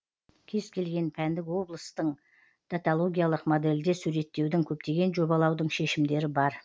кез келген пәндік облыстың даталогиялық модельде суреттеудің көптеген жобалаудың шешімдері бар